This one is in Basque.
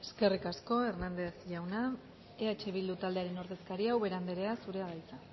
eskerrik asko hernández jauna eh bildu taldearen ordezkaria ubera andrea zurea da hitza